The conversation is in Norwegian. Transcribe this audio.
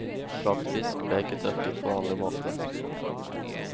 Plattfisk ble ikke tørket på vanlig måte.